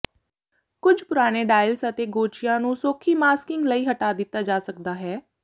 ਕੁੱਝ ਪੁਰਾਣੇ ਡਾਇਲਸ ਅਤੇ ਗੋਚਿਆਂ ਨੂੰ ਸੌਖੀ ਮਾਸਕਿੰਗ ਲਈ ਹਟਾ ਦਿੱਤਾ ਜਾ ਸਕਦਾ ਹੈ